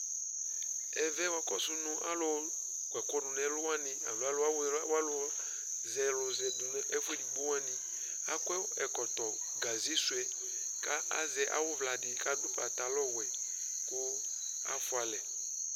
ɛvɛ wa kɔsu no alò kɔ ɛkò du n'ɛlu wani alo alò zɛ alò zɛ du n'ɛfu edigbo wani akɔ ɛkɔtɔ gaze sò yɛ k'azɛ awu uvla di k'adu pantalɔ wɛ kò afua alɛ